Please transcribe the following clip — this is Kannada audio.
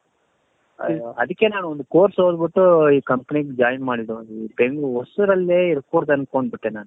ಅಯ್ಯೋ ಅದಕ್ಕೆ ನಾನು ಒಂದು course ಓದ್ಬಿಟ್ಟು ಈ company ಗೆ join ಮಾಡಿದ್ದು ಹೆoಗೂ ಹೊಸೂರಲ್ಲಿ ಇರ್ಕೂಡ್ದು ಅನ್ಕೊಂಡ್ ಬಿಟ್ಟೆ ನಾನು .